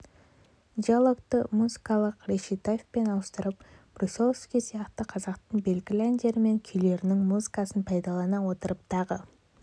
диалогты музыкалық речитативпен ауыстырып брусиловский сияқты қазақтың белгілі әндері мен күйлерінің музыкасын пайдалана отырып тағы